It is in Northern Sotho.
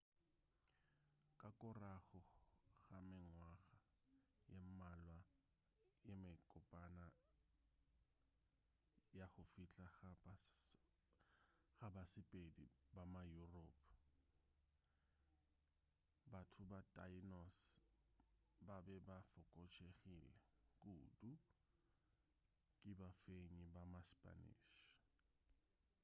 ka korago ga mengwaga ye mmalwa ye mekopana ya go fihla ga basepedi ba ma-europe batho ba tainos ba be ba fokotšegile kudu ke bafenyi ba ma-spanish